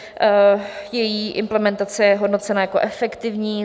Její implementace je hodnocena jako efektivní.